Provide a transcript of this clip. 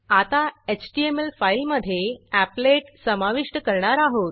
आता HTML file मधे applet समाविष्ट करणार आहोत